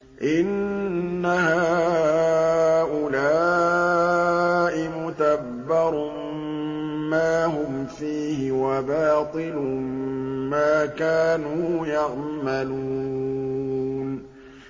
إِنَّ هَٰؤُلَاءِ مُتَبَّرٌ مَّا هُمْ فِيهِ وَبَاطِلٌ مَّا كَانُوا يَعْمَلُونَ